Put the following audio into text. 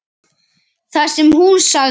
Það sem hún sagði